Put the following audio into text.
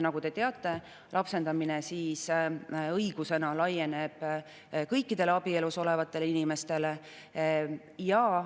Nagu te teate, lapsendamine õigusena laieneb kõikidele abielus olevatele inimestele.